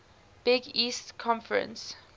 big east conference